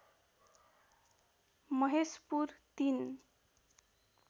Maheshpur ३